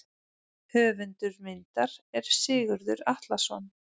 Höfundur myndar er Sigurður Atlason.